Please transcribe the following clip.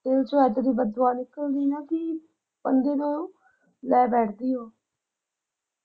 ਦਿਲ ਚੋਂ ਏਦਾਂ ਦੀ ਬਦ ਦੁਆ ਨਿਕਲੀ ਨਾ ਕਿ ਕਈ ਵਾਰ ਉਹ ਲੈ ਬੈਠਦੀ ਆ